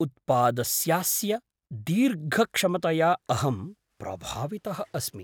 उत्पादस्यास्य दीर्घक्षमतया अहं प्रभावितः अस्मि।